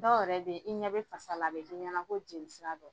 Dɔw yɛrɛ bɛ yen i ɲɛ bɛ fasa la, a bɛ k'i ɲɛna ko jeli sira dɔ.